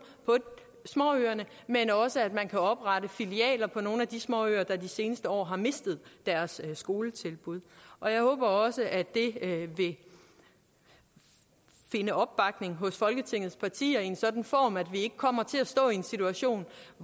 på småøerne men også at man kan oprette filialer på nogle af de småøer der i de seneste år har mistet deres skoletilbud og jeg håber også at det vil finde opbakning hos folketingets partier i en sådan form at vi ikke kommer til at stå i den situation